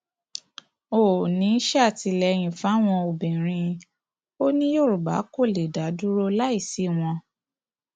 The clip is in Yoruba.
oòní sàtìlẹyìn fáwọn obìnrin ò ní yorùbá kó lè dá dúró láì sí wọn